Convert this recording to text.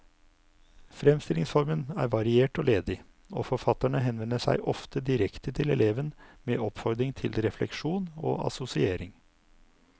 Fremstillingsformen er variert og ledig, og forfatterne henvender seg ofte direkte til eleven med oppfordring til refleksjon og assosiering.